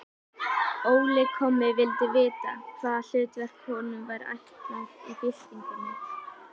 Óli kommi vildi vita, hvaða hlutverk honum væri ætlað í byltingunni.